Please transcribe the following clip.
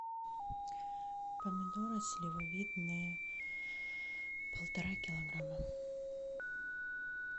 помидоры сливовидные полтора килограмма